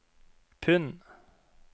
pund